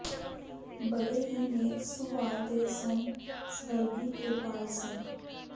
ਬੜੇ ਹੀ ਨੇਕ ਸੁਭਾਅ ਦੇ ਸਨ ਸਵਰਗੀ ਕਿਰਪਾਲ ਸਿੰਘ